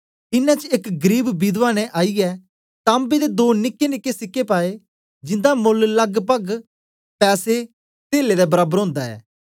इनें च एक गरीब विधवा ने आईयै तांबे दे दो निकेनिके सिक्के पाए जिन्दा मोल लगपग पैसे तेला दे बराबर ओंदा ऐ